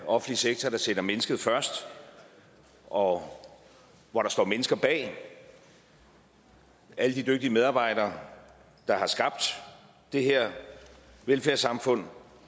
offentlig sektor der sætter mennesket først og hvor der står mennesker bag alle de dygtige medarbejdere der har skabt det her velfærdssamfund